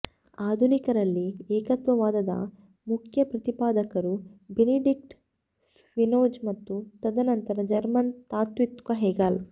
ಆಧುನಿಕರಲ್ಲಿ ಏಕತ್ವವಾದದ ಮುಖ್ಯ ಪ್ರತಿಪಾದಕರು ಬೆನಿಡಿಕ್ಟ್ ಸ್ಪಿನೋಜ಼ ಮತ್ತು ತದನಂತರ ಜರ್ಮನ್ ತಾತ್ತ್ವಿಕ ಹೆಗೆಲ್